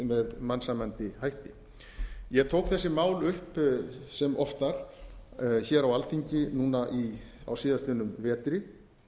með mannsæmandi hætti ég tók þessi mál upp sem oftar hér á alþingi núna á síðastliðnum vetri